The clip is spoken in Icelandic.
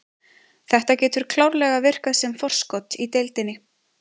Þetta getur klárlega virkað sem forskot í deildinni.